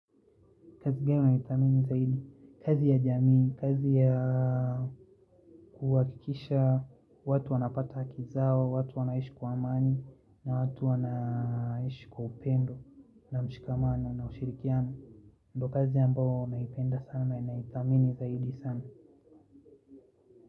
Kazi ya jamii, kazi ya kuwakikisha watu wanapata kizao, watu wanaishi kwa amani, na watu wanaishi kwa upendo, na mshikamano, na ushirikiano. Ndo kazi ambao naipenda sana naithamini zaidi sana.